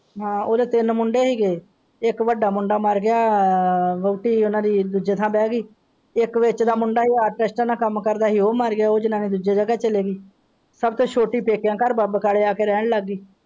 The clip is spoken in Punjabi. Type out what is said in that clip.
ਹਾਂ ਉਹਦੇ ਮੁੰਡੇ ਸੀ ਗਏ ਇੱਕ ਵੱਡਾ ਮੁੰਡਾ ਮਰ ਗਿਆ ਵੁਹਾਟੀ ਉਹਨਾਂ ਦੀ ਦੂਜੇ ਥਾਂ ਬੇ ਗਈ ਸਬ ਤੋਂ ਛੁੱਟੀ ਪੇਕਿਆਂ ਘਰ ਵਾਪਿਸ ਆ ਕੇ ਰਹਿਣ ਲੱਗ ਗਈ।